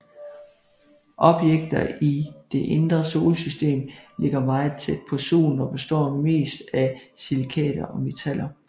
Objekter i det indre solsystem ligger meget tæt på Solen og består mest af silikater og metaller